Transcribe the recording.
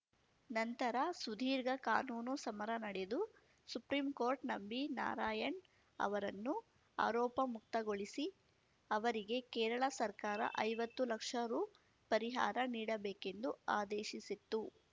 ನಂತರ ಸುದೀರ್ಘ ಕಾನೂನು ಸಮರ ನಡೆದು ಸುಪ್ರಿಂಕೋರ್ಟ್‌ ನಂಬಿ ನಾರಾಯಣ್ ಅವರನ್ನು ಆರೋಪಮುಕ್ತಗೊಳಿಸಿ ಅವರಿಗೆ ಕೇರಳ ಸರ್ಕಾರ ಐವತ್ತು ಲಕ್ಷ ರು ಪರಿಹಾರ ನೀಡಬೇಕೆಂದು ಆದೇಶಿಸಿತ್ತು